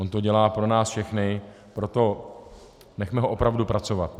On to dělá pro nás všechny, proto nechme ho opravdu pracovat.